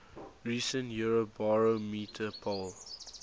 recent eurobarometer poll